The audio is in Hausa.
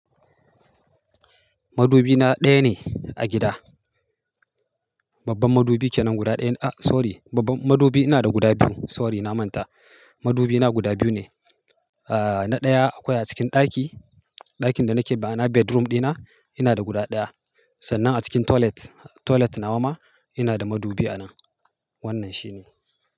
Madubi na ɗaya ne a gida. Babban madubi kenan guda ɗaya. A sorry, babban madubi ina da guda biyu. Sorry na manta. Madubi na guda biyu ne. Ah na ɗaya akwai a cikin ɗaki, ɗakin da nake ma'ana bedroom ɗina, ina da guda ɗaya. Sannan a cikin toilet, toilet nawa ma ina da madubi a nan. Wannan shine.